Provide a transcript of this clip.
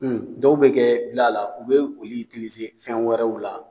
Dɔw bɛ kɛ gila la, u bɛ olu fɛn wɛrɛw la